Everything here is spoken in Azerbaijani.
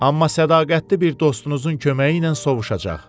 Amma sədaqətli bir dostunuzun köməyi ilə sovuşacaq.